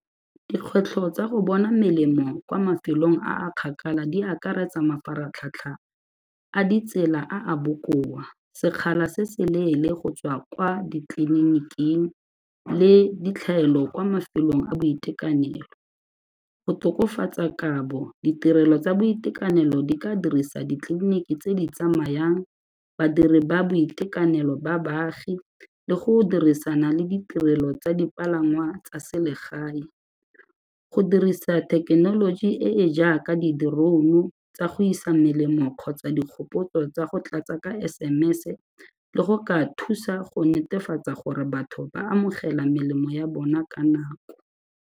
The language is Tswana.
Dikgwetlho tsa go bona melemo kwa mafelong a a kgakala di akaretsa mafaratlhatlha a ditsela a a bokoa, sekgala se se leele go tswa kwa ditleliniking le ditlhaelo kwa mafelong a boitekanelo, go tokafatsa kabo ditirelo tsa boitekanelo di ka dirisa ditleliniki tse di tsamayang, badiri ba boitekanelo ba baagi le go dirisana le ditirelo tsa dipalangwa tsa selegae. Go dirisa thekenoloji e e jaaka di-drone-u tsa go isa melemo kgotsa dikgopotso tsa go tlatsa ka SMS-se le go ka thusa go netefatsa gore batho ba amogela melemo ya bona ka nako.